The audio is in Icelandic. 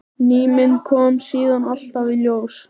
Ný mynd kom síðan alltaf í ljós.